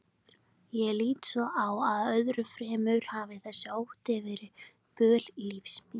Ég lít svo á að öðru fremur hafi þessi ótti verið böl lífs míns.